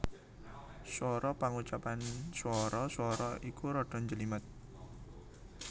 Swara Pangucapan swara swara iki rada njlimet